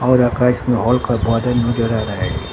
और आकाश में और बादल नजर आ रहा है।